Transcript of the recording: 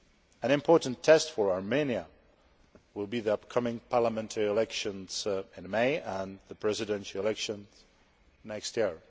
An important test for Armenia will be the upcoming parliamentary elections in May and the presidential election next year.